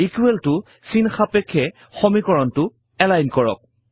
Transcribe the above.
equal ত চিন সাপেক্ষে সমীকৰণটো এলাইন কৰক